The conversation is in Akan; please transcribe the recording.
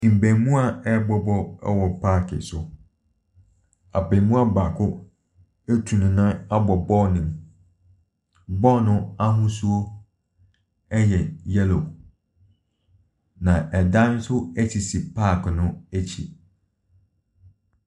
Mmaamuwaa rebɔ ball wɔ park so. Abaamuwa baako atu ne nan abɔ ball no mu. Ball no ahosuo yɛ yellow, na dan nso sisi park no akyi.